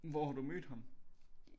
Hvor har du mødt ham